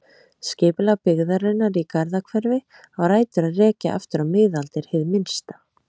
Skipulag byggðarinnar í Garðahverfi á rætur að rekja aftur á miðaldir hið minnsta.